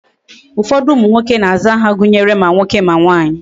Ufodu umu nwoke na aza aha gunyere ma nwoke ma nwanyi